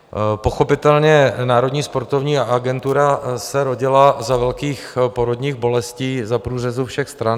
Pochopitelně, Národní sportovní agentura se rodila za velkých porodních bolestí za průřezu všech stran.